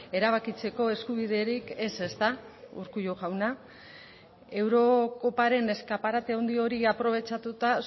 erabakitzeko eskubiderik ez ezta urkullu jauna eurokoparen eskaparate handi hori aprobetxatuta